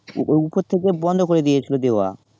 উপর থেকে বন্ধ করে দিয়েছিলো দেওয়া